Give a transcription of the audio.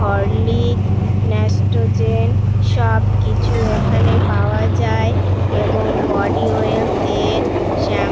Horlicks Nestogen সব কিছু এখানে পাওয়া যায় এবং বডি অয়েল তেল শ্যাম --